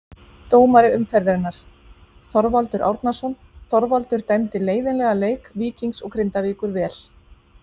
Dómari umferðarinnar: Þorvaldur Árnason Þorvaldur dæmdi leiðinlega leik Víkings og Grindavíkur vel.